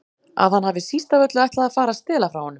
Að hann hafi síst af öllu ætlað að fara að stela frá honum.